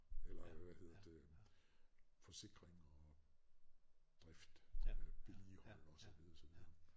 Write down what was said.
Eller hvad hedder det forsikringer og drift øh vedligeholde og så videre og så videre